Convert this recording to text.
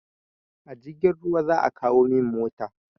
A jirgin ruwa za a kawo min mota.